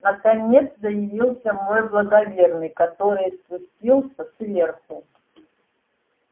наконец заявился мой благоверный который спустился сверху